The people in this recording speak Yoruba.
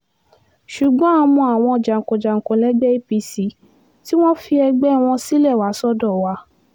ṣùgbọ́n a mọ àwọn jàǹkànjàǹkàn lẹ́gbẹ́ apc tí wọ́n fi ẹgbẹ́ wọn sílẹ̀ wá sọ́dọ̀ wa